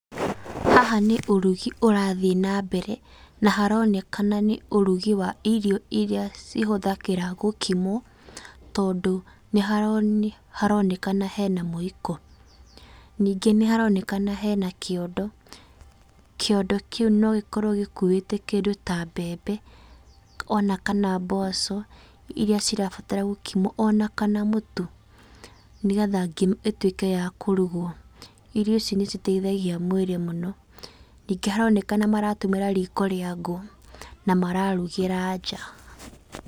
Haha nĩ ũrugi ũrathiĩ nambere, na haronekana nĩ ũrugi wa irio cihũthagĩra gũkimwo, tondũ nĩharonekana hena mwĩiko. Ningĩ nĩharonekana hena kĩondo. Kĩondo kĩu nogĩkorwo gĩkuĩte kĩndũ ta mbembe, ona kana mboco, iriac irabatara gũkimwo, ona kana mũtu, nĩgetha ngima ĩtuĩke ya kũrugwo. Irio ici nĩciteithagia mwĩrĩ mũno. Ningĩ haronekana maratũmĩra riko rĩa ngũ, na mararugĩra nja.